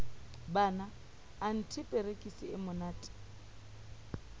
banna anthe perekisi e monate